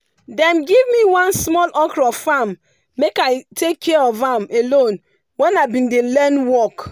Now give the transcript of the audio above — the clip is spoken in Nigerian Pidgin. dem give me one small okro farm make i take care of am alone when i been dey learn work.